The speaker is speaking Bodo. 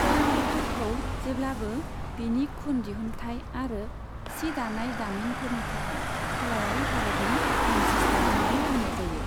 क'यम्बटूरखौ जेब्लाबो बिनि खुन दिहुन्थाय आरो सि दानाय दामिनफोरनि थाखाय खोलायारि भारतनि मानचेस्टार होनना बुंनाय जायो।